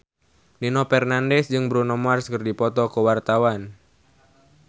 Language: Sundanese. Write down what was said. Nino Fernandez jeung Bruno Mars keur dipoto ku wartawan